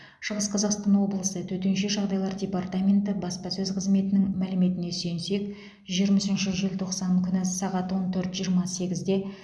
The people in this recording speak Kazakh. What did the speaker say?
шығыс қазақстан облысы төтенше жағдайлар департаменті баспасөз қызметінің мәліметіне сүйенсек жиырма үшінші желтоқсан күні сағат он төрт жиырма сегізде